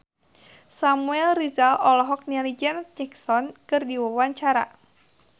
Samuel Rizal olohok ningali Janet Jackson keur diwawancara